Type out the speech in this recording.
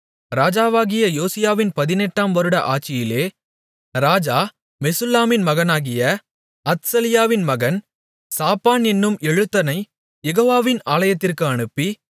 ராஜாவாகிய யோசியாவின் பதினெட்டாம் வருட ஆட்சியிலே ராஜா மெசுல்லாமின் மகனாகிய அத்சலியாவின் மகன் சாப்பான் என்னும் எழுத்தனைக் யெகோவாவின் ஆலயத்திற்கு அனுப்பி